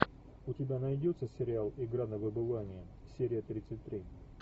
у тебя найдется сериал игра на выбывание серия тридцать три